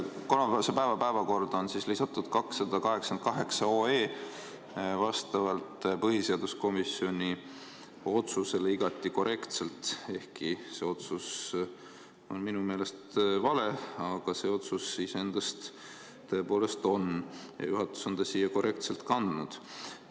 Kolmapäevasesse päevakorda on lisatud 288 OE vastavalt põhiseaduskomisjoni otsusele igati korrektselt, ehkki see otsus on minu meelest vale, aga see otsus iseenesest tõepoolest siin on ja juhatus on ta siia korrektselt kandnud.